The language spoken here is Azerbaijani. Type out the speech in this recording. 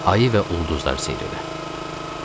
Ayı və ulduzları seyr elə.